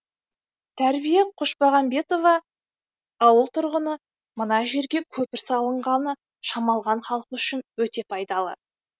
тәрбие қошпағанбетова ауыл тұрғыны мына жерге көпір салынғаны шамалған халқы үшін өте пайдалы